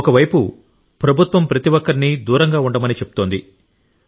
ఒక వైపు ప్రభుత్వం ప్రతి ఒక్కరినీ దూరం ఉంచమని చెబుతోంది